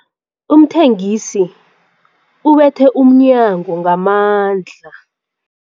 Umthengisi ubethe umnyango ngamandla.